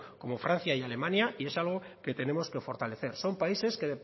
como francia y alemania y es algo que tenemos que fortalecer son países que